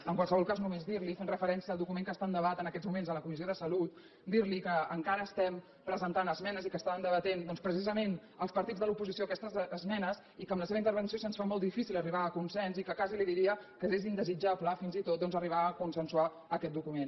en qualsevol cas només dir li fent referència al document que està en debat en aquests moments a la comissió de salut que encara estem presentant esmenes i que estàvem debatent doncs precisament els partits de l’oposició aquestes esmenes i que amb la seva intervenció se’ns fa molt difícil arribar a un consens i que quasi li diria que és indesitjable fins i tot arribar a consensuar aquest document